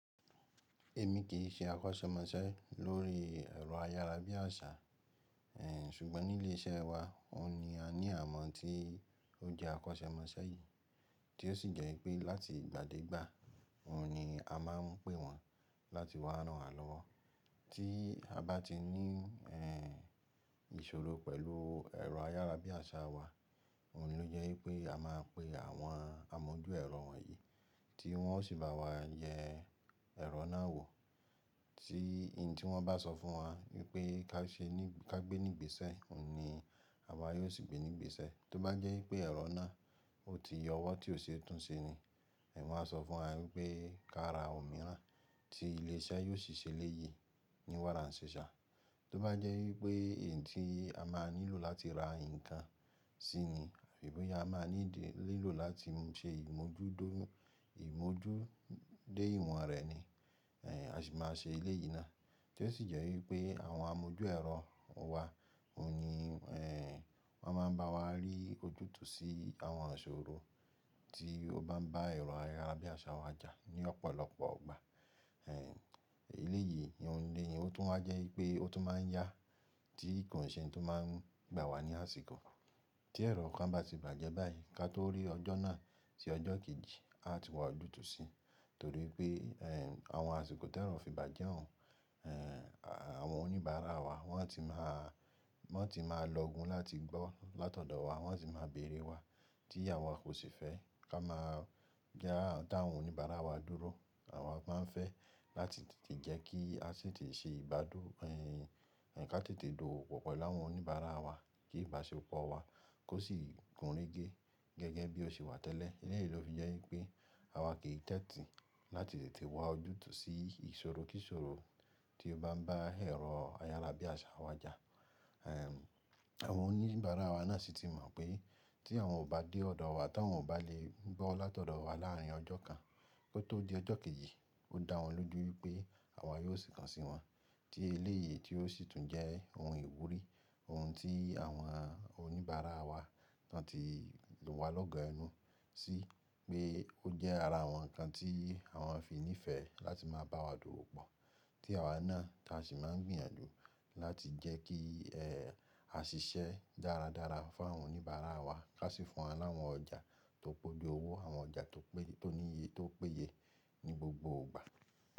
Èmi kì í ṣe akọ́ṣẹ́mọṣẹ́ lórí ẹ̀rọ ayárabíàṣá, ẹ, ṣùgbọ́n nílé iṣẹ́ wa, òun ni a ní àwọ́n tí ó jẹ́ akọ́ṣẹ́mọṣẹ́ yìí tí ó sì jẹ́ wípé láti ìgbà dé ìgbà, òun ni a máa ń pè wọ́n láti wá ránwa lọ́wọ́. Tí a bá ti ní, ẹ́, ìṣòro pẹ̀lú ẹ̀rọ ayárabíàṣá wa, òun ló jẹ́ wípé a máa pe àwọn amójú ẹ̀rọ wọ̀nyí tí wọ́n ó sì bá wa yẹ ẹ̀rọ náà wò. Tí in tí wọ́n bá sọ fún wa wípé ká ṣe ní ká gbé nígbèsè, òun ni àwa yóò sì gbé nígbèsè. Tó bá jẹ́ wípé ẹ̀rọ náà ó ti yọ ọwọ́ tí ó ṣe é tún ṣe ni, ẹ wán sọ fún wa wípé ká ra òmíràn tí ilé iṣẹ́ yóò ṣì ṣe léyìí ní wáranṣiṣa. Tó bá jẹ́ wípé in tí a máa nílò láti ra ǹkan sí ni, àbi bo ya amáa need lílò láti ṣe ìmójútó ìmójú dé ìwọ̀n rẹ̀ ni, ẹ́, a ṣì máa ṣe eleyìí ná. Tí ó sì jẹ́ wípé àwọn amójú ẹ̀rọ wa òun ni, ẹ́, wọ́n máa ń bá wa rí ojútùú sí àwọn ìṣòro tí ó bá ń bá ẹ̀rọ ayárabíàṣá wa jà ní ọ̀pọ̀lọpọ̀ ọgbà. Eleyìí oùn elé yìí ó tún wá jẹ́ wípé ó tún máa ń yá tí ko n ṣẹ̀ n tó máa ń gbà wá ní àsìkò. Tí ẹ̀rọ kan bá ti bàjẹ́ báyìí, ká tó rí ọjọ́ náà tí ọjọ́ kejì a ti wá ojútùú sí, torí pé, ẹ́, àwọn àsìkò tí ẹ̀rọ fi bàjẹ́ òun, ẹ́, àwọn oníbàárà wa wọ́n á ti má wọ́n á ti máa lọgun láti gbọ́ látọ̀dọ̀ wa, wọ́n á ti máa béèrè wá tí àwa kò sì fẹ́ ká máa ja, dáwọn oníbàárà wa dúró. Àwa máa ń fẹ́ láti tètè jẹ́ kí a tetè ṣe ìbádọ́, ẹ́, ká tètè dowo pọ̀ pẹ láwọn oníbàárà wa kí ìbáṣepọ̀ wa kó sì gúnregé gẹ́gẹ́ bí ó ṣe wà tẹ́lẹ̀. Eleyìí ló fi jẹ́ wípé àwa kì í tẹ́tì láti tètè wá ojútùú sí ìṣòro kíṣòro tí ó bá ń bá ẹ̀rọ ayárabíàṣá wa jà. Ẹ̀m, àwọn oníbàárà wa náà sì ti mọ̀ pé tí àwọn ò bá dé ọ̀dọ̀ wa táwọn ò bá lè gbọ́ látọ̀dọ̀ wa láàárín ọjọ́ kan kó tó di ọjọ́ kejì, ó dá wọn lójú wípé àwa yóò sì kàn sí wọn. Tí eleyìí tí ó sì tún jẹ́ oun ìwúrí, oun tí àwọn oníbàárà wa náà ti lù wá lọ́gọ ẹnu sí pé ó jẹ́ ara àwọn ǹkan tí àwọn fi ní ìfẹ́ láti máa bá wa dowó pọ̀. Tí àwa náà tá sì máa n gbìyànjú láti jẹ́ kí, ẹ́, a ṣiṣẹ́ dáradára fún àwọn oníbàárà wa ká sì fún wọn láwọn ọjà tó poju owó àwọn ọjà tó pé tó níye tó péye ní gbogbo ìgbà.